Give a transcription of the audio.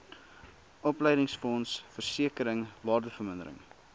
opleidingsfonds versekering waardevermindering